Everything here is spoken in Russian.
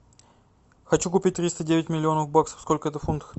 хочу купить триста девять миллионов баксов сколько это в фунтах